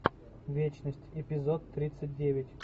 вечность эпизод тридцать девять